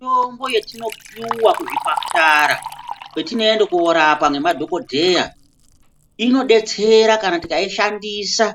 Mitombo yetinopuwa kuzvipatara, kwetinoende koorapwa nemadhokodheya, inodetsera kana tikaishandisa